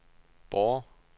Borre